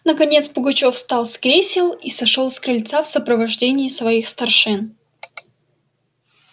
наконец пугачёв встал с кресел и сошёл с крыльца в сопровождении своих старшин